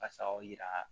Basaw yira